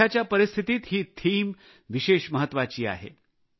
सध्याच्या परिस्थितीत ही संकल्पना विशेष महत्त्वाची आहे